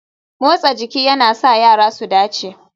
Motsa jiki yana sa yara su dace